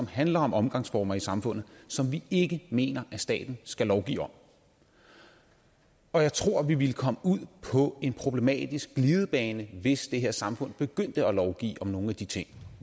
handler om omgangsformer i samfundet som vi ikke mener staten skal lovgive om og jeg tror at vi ville komme ud på en problematisk glidebane hvis det her samfund begyndte at lovgive om nogle af de ting